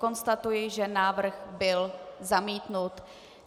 Konstatuji, že návrh byl zamítnut.